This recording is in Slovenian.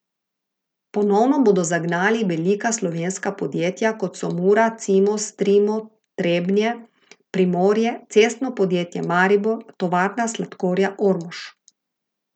Ponovno bodo zagnali velika slovenska podjetja, kot so Mura, Cimos, Trimo Trebnje, Primorje, Cestno podjetje Maribor, Tovarna sladkorja Ormož.